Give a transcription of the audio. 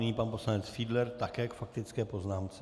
Nyní pan poslanec Fiedler také k faktické poznámce.